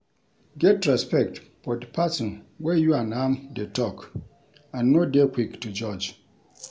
Get respect for di person wey you and am dey talk and no dey quick to judge